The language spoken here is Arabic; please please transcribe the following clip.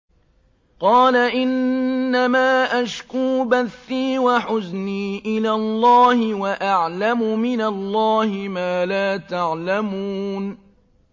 قَالَ إِنَّمَا أَشْكُو بَثِّي وَحُزْنِي إِلَى اللَّهِ وَأَعْلَمُ مِنَ اللَّهِ مَا لَا تَعْلَمُونَ